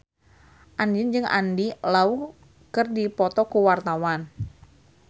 Andien jeung Andy Lau keur dipoto ku wartawan